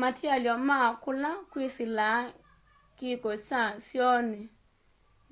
matialy'o ma kula kwĩsĩlaa kĩko kya syoonĩ